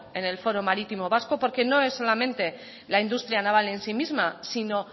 en el foro marítimo vasco porque no es solamente la industria naval en sí misma sino